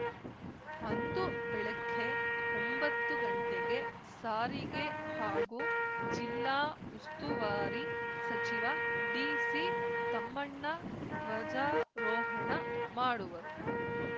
ಅಂದು ಬೆಳಗ್ಗೆ ಒಂಬತ್ತು ಗಂಟೆಗೆ ಸಾರಿಗೆ ಹಾಗೂ ಜಿಲ್ಲಾ ಉಸ್ತುವಾರಿ ಸಚಿವ ಡಿಸಿ ತಮ್ಮಣ್ಣ ಧ್ವಜಾರೋಹಣ ಮಾಡುವರು